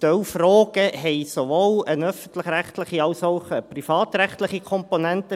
Ein Teil der Fragen hat sowohl eine öffentlich-rechtliche als auch eine privatrechtliche Komponente;